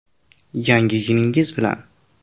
Yangi yilingiz bilan!